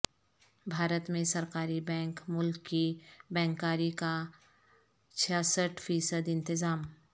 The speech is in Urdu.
بھارت میں سرکاری بینک ملک کی بینکاری کا چھیاسٹھ فیصد انتظام